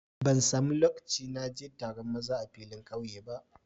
Ban samu loƙci na je taron maza a filin ƙauye ba.